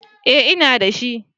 Eh ina da shi